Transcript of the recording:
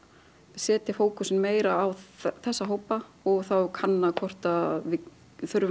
setja fókusinn meira á þessa hópa og þá kanna hvort við þurfum